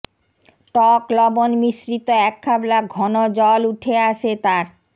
টক লবণ মিশ্রিত এক খাবলা ঘন জল উঠে আসে তার